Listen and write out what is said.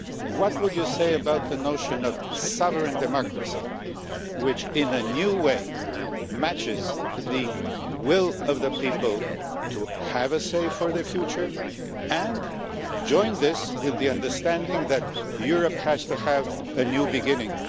What would you say about the notion of sovereign democracy, which in a new way matches the will of the people to have a say in their future, and join this with the understanding that Europe has to have a new beginning.